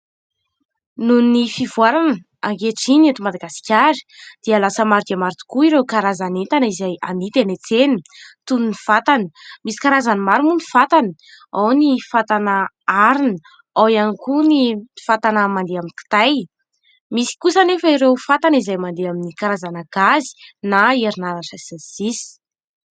Noho ny fivoarana ankehitriny eto Madagasikara dia lasa maro dia maro tokoa ireo karazan'entana izay amidy eny an-tsena toy ny fatana. Misy karazany maro moa ny fatana ao ny fatana arina ao ihany koa ny fatana mande amin'ny kitay. Misy kosa anefa ireo fatana izay mandeha amin'ny karazana gazy na herinaratra sy ny sisa.